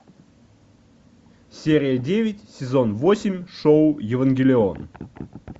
серия девять сезон восемь шоу евангелион